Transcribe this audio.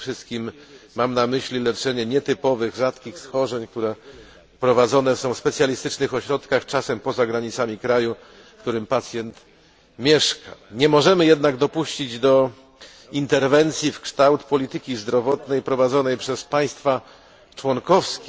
Przede wszystkim mam na myśli leczenie nietypowych rzadkich schorzeń prowadzone w specjalistycznych ośrodkach, czasem poza granicami kraju, w którym pacjent mieszka. Nie możemy jednak dopuścić do ingerencji w kształt polityki zdrowotnej prowadzonej przez państwa członkowskie.